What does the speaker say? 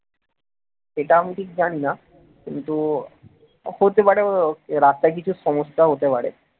সেটা আমি ঠিক জানি না কিন্তু হতে পারে রাস্তায় কিছু সমস্যা হতে পারে